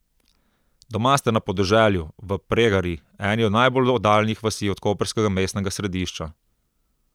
Doma ste na podeželju, v Pregari, eni od najbolj oddaljenih vasi od koprskega mestnega središča.